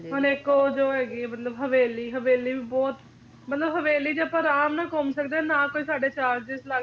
ਹੁਣ ਇੱਕ ਉਹ ਜੋ ਹੈਗੀ ਆ ਮਤਲਬ ਹਵੇਲੀ, ਹਵੇਲੀ ਵੀ ਬਹੁਤ ਮਤਲਬ ਹਵੇਲੀ ਚ ਆਪਾਂ ਅਰਾਮ ਨਾਲ ਘੁੰਮ ਸਕਦੇ ਆ ਨਾ ਕੋਈ ਸਾਡੇ charges ਲੱਗਦੇ ਨੇ